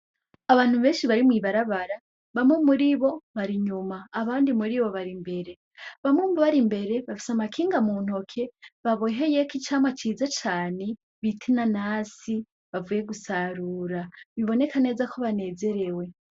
Abantu benshi barimw'ibarabara bamwe muri bo bari inyuma abandi muri bo bari imbere bamwe mu bari imbere bafise amakinga mu ntoke baboheyeko icamwa ciza cane bitina nasi bavuye gusarura biboneka neza ko banezerewe.